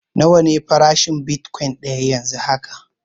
Nawa ne farashin bitkwain daya yanzu haka?